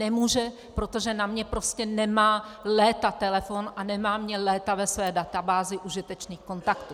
Nemůže, protože na mně prostě nemá léta telefon a nemá mě léta ve své databázi užitečných kontaktů.